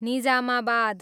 Nizamabad